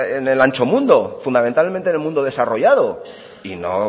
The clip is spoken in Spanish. en el ancho mundo fundamentalmente en el mundo desarrollado y no